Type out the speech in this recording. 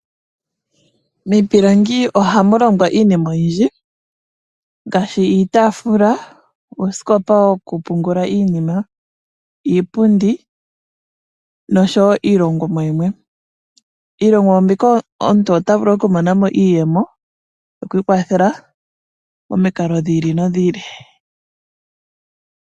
Miipilangi ohamulongwa iinima oyindji ngaashi iitaafula, uusikopa wokupungula iinima, iipundi noshowo iilongomwa yimwe. Miilongomwa mbika omuntu ota vulu oku mona mo iiyemo yokwiikwathela momikalo dhi ili nodhi ili.